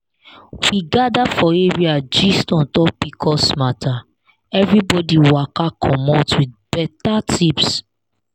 we gather for area gist on top pcos matter everybody waka commot with better tips